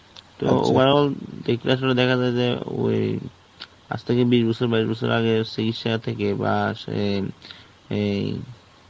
তো overall দেখে আসলে দেখা যায় যে ওই আজ থেকে বিশ বছর, বাইশ বছর আগে চিকিৎসা থেকে বা আসে~ এই